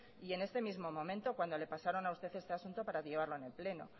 y en este mismo momento cuando le pasaron a usted este asunto para llevarlo en el pleno